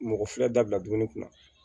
Mɔgɔ fila dabila dumuni kunna